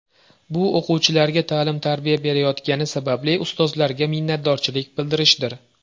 Bu o‘quvchilarga ta’lim-tarbiya berayotgani sababli ustozlarga minnatdorchilik bildirishdir.